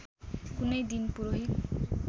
कुनै दिन पुरोहित